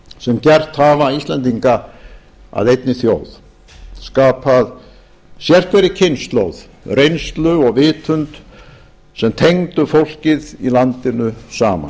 sem gert hafa íslendinga að einni þjóð skapað sérhverri kynslóð reynslu og vitund sem tengdu fólkið í landinu saman